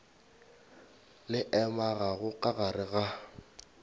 le amegago ka gare ga